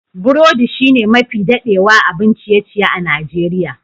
Burodi shine mafi dadewa abun ciye-ciye a Nijeriya.